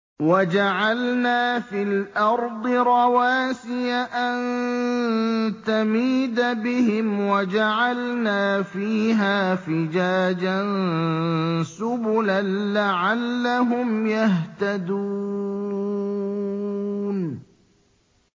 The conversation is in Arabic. وَجَعَلْنَا فِي الْأَرْضِ رَوَاسِيَ أَن تَمِيدَ بِهِمْ وَجَعَلْنَا فِيهَا فِجَاجًا سُبُلًا لَّعَلَّهُمْ يَهْتَدُونَ